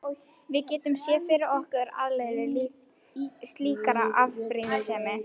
Við getum séð fyrir okkur afleiðingar slíkrar afbrýðisemi.